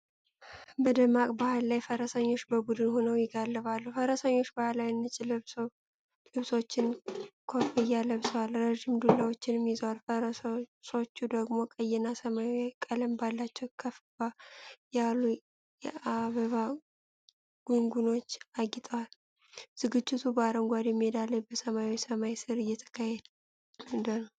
በደማቅ በዓል ላይ ፈረሰኞች በቡድን ሆነው ይጋልባሉ። ፈረሰኞቹ ባህላዊ ነጭ ልብሶችና ኮፍያ ለብሰዋል፣ ረጅም ዱላዎችም ይዘዋል። ፈረሶቹ ደግሞ ቀይና ሰማያዊ ቀለም ባላቸው ከፍ ያሉ የአበባ ጎንጉኖች አጊጠዋል። ዝግጅቱ በአረንጓዴ ሜዳ ላይ በሰማያዊ ሰማይ ስር እየተካሄደ ነው።